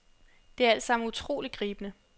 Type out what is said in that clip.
Det er altsammen utroligt gribende.